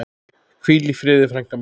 Hvíl í friði frænka mín.